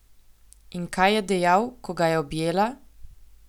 In kaj je dejal, ko ga je objela?